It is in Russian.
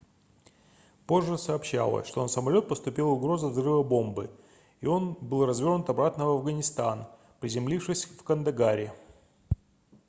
позже сообщалось что на самолет поступила угроза взрыва бомбы и он был развернут обратно в афганистан приземлившись в кандагаре